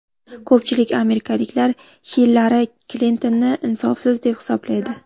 Ko‘pchilik amerikaliklar Hillari Klintonni insofsiz deb hisoblaydi.